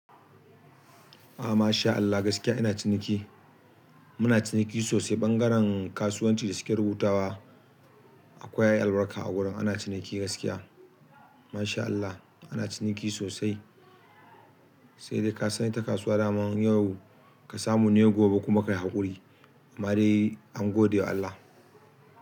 A masha Allah gaskiya ina ciniki. Muna ciniki sosai, ɓangaren kasuwanci da suke rubutawa akwai albarka a wurin. Ana ciniki gaskiya. Masha Allah ana ciniki sosai, saidai kasan ita kasuwa daman yau ka samu ne gobe kuma kayi haƙuri. Amma dai an godewa Allah.